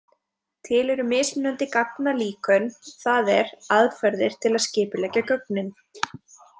Til eru mismunandi gagnalíkön, það er aðferðir til að skipuleggja gögnin.